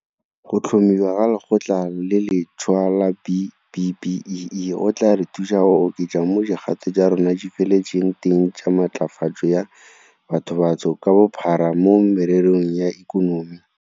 Go tlhomiwa ga Lekgotla le lentšhwa la B-BBEE go tla re thusa go oketsa mo dikgato tsa rona di feletseng teng tsa matlafatso ya bathobantsho ka bophara mo mererong ya ikonomi.